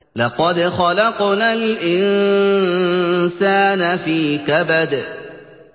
لَقَدْ خَلَقْنَا الْإِنسَانَ فِي كَبَدٍ